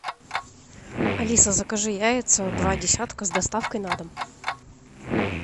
алиса закажи яйца два десятка с доставкой на дом